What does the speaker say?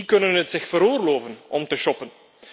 Die kunnen het zich veroorloven om te shoppen.